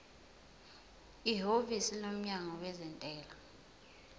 ihhovisi lomnyango wezentela